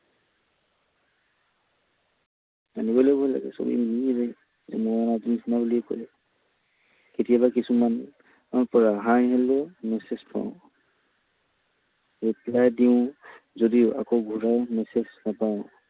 কেতিয়াবা কিছুমান মেলি মেচেজ কৰোঁ। reply দিওঁ যদি আকৌ ঘূৰাই মেচেজ নাপাওঁ।